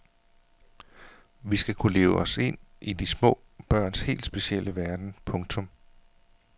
Vi skal kunne leve os ind i små børns helt specielle verden. punktum